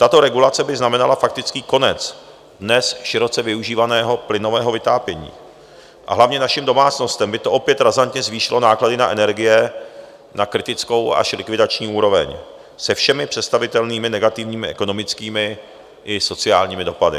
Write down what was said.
Tato regulace by znamenala faktický konec dnes široce využívaného plynového vytápění, a hlavně našim domácnostem by to opět razantně zvýšilo náklady na energie na kritickou až likvidační úroveň se všemi představitelnými negativními ekonomickými i sociálními dopady.